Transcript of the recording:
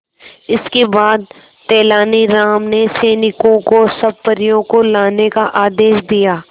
इसके बाद तेलानी राम ने सैनिकों को सब परियों को लाने का आदेश दिया